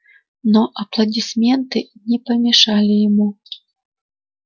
но аплодисменты не помешали ему